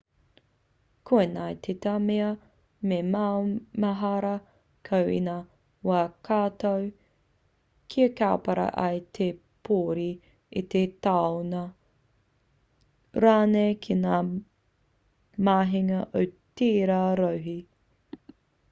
koinei tētahi mea me maumahara koe i ngā wā katoa kia kaupare ai i te pōuri i te tāunu rānei ki ngā mahinga o tērā rohe